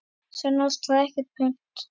Sönn ást þarf ekkert punt.